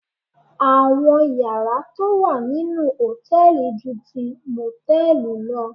Àwọn yàrá tó wà nínú hòtẹ́ẹ̀li ju ti mòtẹ́ẹ̀lì lọ